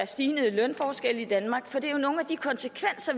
stigende lønforskelle i danmark for det er jo nogle af de konsekvenser